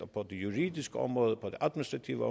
på det juridiske område på det administrative